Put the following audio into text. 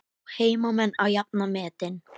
Ná heimamenn að jafna metin?